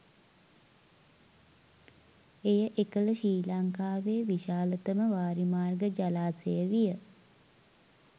එය එකල ශ්‍රී ලංකාවේ විශාලතම වාරිමාර්ග ජලාශය විය.